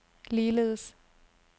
ligeledes